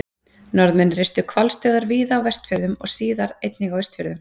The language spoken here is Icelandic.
Norðmenn reistu hvalstöðvar víða á Vestfjörðum og síðar einnig á Austfjörðum.